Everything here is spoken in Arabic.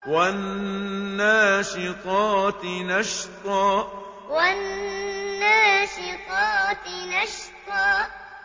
وَالنَّاشِطَاتِ نَشْطًا وَالنَّاشِطَاتِ نَشْطًا